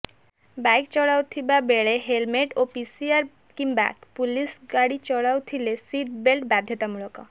bike ଚଲାଉଥିବା ବେଳେ helmet ଓ ପିସିଆର୍ କିମ୍ବା ପୁଲିସ ଗାଡ଼ି ଚଲାଉଥିଲେ ସିଟ୍ ବେଲ୍ଟ ବାଧ୍ୟତାମୂଳକ